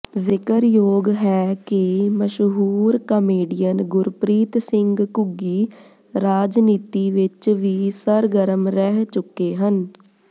ਜ਼ਿਕਰਯੋਗ ਹੈ ਕਿ ਮਸ਼ਹੂੁਰ ਕਾਮੇਡੀਅਨ ਗੁਰਪ੍ਰੀਤ ਸਿੰਘ ਘੁੱਗੀ ਰਾਜਨੀਤੀ ਵਿਚ ਵੀ ਸਰਗਰਮ ਰਹਿ ਚੁੱਕੇ ਹਨ